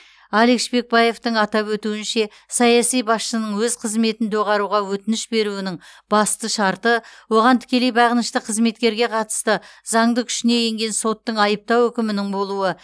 алик шпекбаевтың атап өтуінше саяси басшының өз қызметін доғаруға өтініш беруінің басты шарты оған тікелей бағынышты қызметкерге қатысты заңды күшіне енген соттың айыптау үкімінің болуы